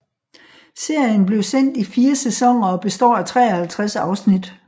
Serien blev sendt i 4 sæsoner og består af 53 afsnit